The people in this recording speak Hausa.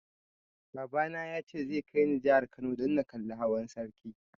Baba na ya ce zai kai ni jihar Kano dan na kalli hawan sarki